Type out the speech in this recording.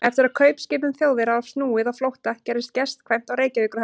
Eftir að kaupskipum Þjóðverja var snúið á flótta, gerðist gestkvæmt á Reykjavíkurhöfn.